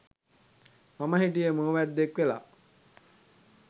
මම හිටියේ මුව වැද්දෙක් වෙලා.